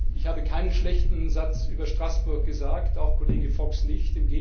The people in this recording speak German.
Ich habe keinen schlechten Satz über Straßburg gesagt, auch Kollege Fox nicht.